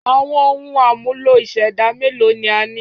Àwọn ohun àmúlò ìṣẹ̀dá mélòó ni a ní?